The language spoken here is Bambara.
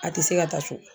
A tɛ se ka taa cogo di